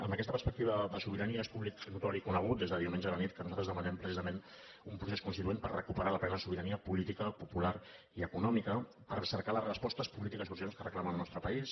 amb aquesta perspectiva de sobirania és públic notori i conegut des de diumenge a la nit que nosaltres demanem precisament un procés constituent per recuperar la plena sobirania política popular i econòmica per cercar les respostes polítiques urgents que reclama el nostre país